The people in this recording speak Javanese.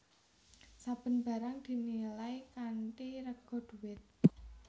Saben barang dinilai kanthi rega dhuwit